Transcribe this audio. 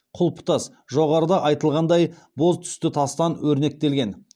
құлпытас жоғарыда айтылғандай боз түсті тастан өрнектелген